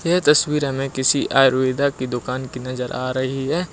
यह तस्वीर हमें किसी आयुर्वेदा की दुकान की नजर आ रही है।